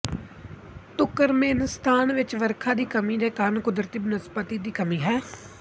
Turkmenistan ਵਿੱਚ ਵਰਖਾ ਦੀ ਕਮੀ ਦੇ ਕਾਰਨ ਕੁਦਰਤੀ ਬਨਸਪਤੀ ਦੀ ਕਮੀ ਹੈ